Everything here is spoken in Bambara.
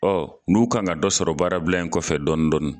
Ɔɔ n'u kan ka dɔ sɔrɔ baarabila in kɔfɛ dɔɔni dɔɔni.